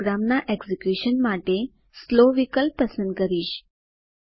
હું પ્રોગ્રામના એકઝીક્યુશન માટે સ્લો વિકલ્પ પસંદ કરીશ